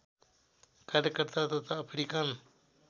कार्यकर्ता तथा अफ्रिकन